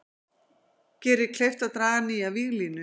Gerir kleift að draga nýja víglínu